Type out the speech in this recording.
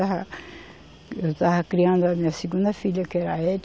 eu estava criando a minha segunda filha, que era a